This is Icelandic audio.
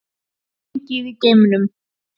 Gengið í geimnum